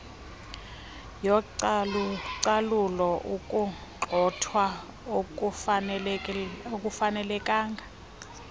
yocalucalulo ukugxothwa okungafanelekanga